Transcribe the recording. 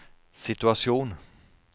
situasjon